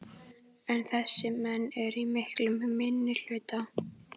En þessir menn eru í miklum minnihluta.